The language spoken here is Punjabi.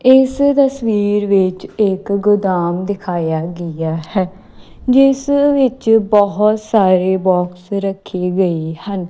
ਇਸ ਤਸਵੀਰ ਵਿੱਚ ਇੱਕ ਗੋਦਾਮ ਦਿਖਾਇਆ ਗਿਆ ਹੈ ਜਿਸ ਵਿੱਚ ਬਹੁਤ ਸਾਰੇ ਬਾਕਸ ਰੱਖੇ ਗਏ ਹਨ।